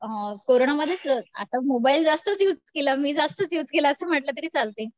अ कोरोनामध्येच आता मोबाईल जास्तच युज केला मी जास्तच युज केला असं म्हंटल तरी चालतंय.